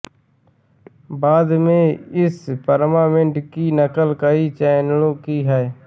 बाद में इस फॉरमेट की नकल कई चैनलों ने की